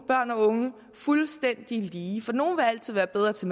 børn og unge fuldstændig lige for nogle vil altid være bedre til